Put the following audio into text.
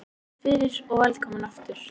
Takk fyrir og velkomin aftur.